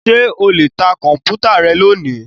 Ṣé o lè ta Kọ̀m̀pútà rẹ lónìí?